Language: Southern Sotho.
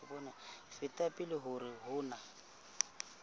feta pele hore ho na